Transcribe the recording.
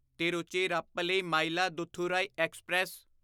Tiruchirappalli Mayiladuthurai express